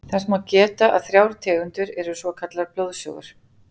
Þess má geta að þrjár tegundir eru svokallaðar blóðsugur.